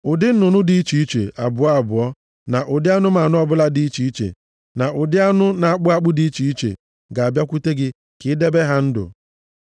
Ụdị nnụnụ dị iche iche, abụọ abụọ, na ụdị anụmanụ ọbụla dị iche iche, na ụdị anụ na-akpụ akpụ dị iche iche, ga-abịakwute gị ka i debe ha ndụ.